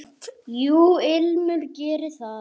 Jú, Ilmur gerir það.